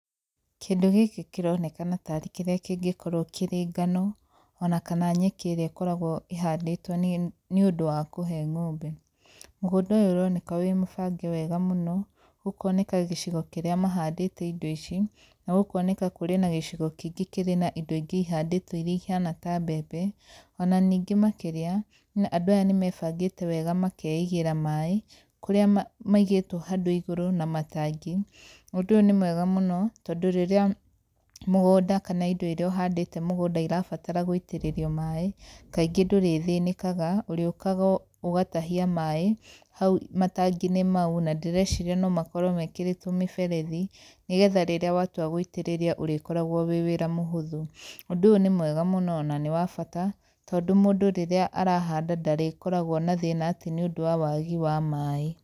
Kĩndũ gĩkĩ kĩronekana ta arĩ kĩrĩa kĩngĩkorwo kĩrĩ ngano, ona kana nyeki ĩrĩa ĩkoragwo ĩhandĩtwo nĩ ũndũ kũhe ng'ombe. Mũgũnda ũyũ ũroneka wĩ mũbange wega mũno, gũkoneka gĩcigo kĩrĩa mahandĩte indo ici, na gũkoneka kũrĩ na gĩcigo kĩngĩ kĩrĩ na indo ingĩ ihandĩtwo irĩa ihana ta mbembe, ona ningĩ makĩria, andũ aya nĩ mebangĩte wega makeigĩra maĩ kũrĩa maigĩtwo handũ igũrũ na matangi, ũndũ ũyũ nĩ mwega mũno, tondũ rĩrĩa mũgũnda kana indo irĩa ũhandĩte mũgũnda irabatara gũitĩrĩrio maĩ, kaingĩ ndũrĩthĩnĩkaga, ũrĩũkaga ũgatahia maĩ hau matangi-inĩ mau na ndĩreciria no makorwo mekĩrĩtwo mĩberethi, nĩ getha rĩrĩa watua gũitĩrĩria ũrĩkoragwo wĩ wĩra mũhũthũ. Ũndũ ũyũ nĩ mwega mũno ona nĩ wa bata, tondũ mũndũ rĩrĩa arahanda ndarĩkoragwo na thĩna atĩ nĩ ũndũ wa wagi wa maĩ.